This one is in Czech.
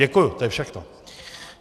Děkuji, to je všechno.